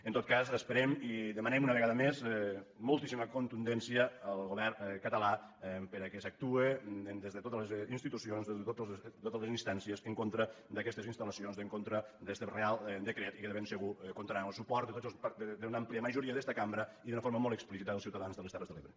en tot cas esperem i demanem una vegada més mol·tíssima contundència al govern català perquè s’actuï des de totes les institucions des de totes les instànci·es en contra d’aquestes instal·lacions en contra d’este reial decret i que de ben segur comptarà amb el su·port d’una àmplia majoria d’esta cambra i d’una forma molt explícita dels ciutadans de les terres de l’ebre